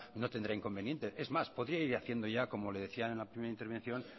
no tendrá inconveniente es más podría ir haciendo ya como le decían en la primera intervención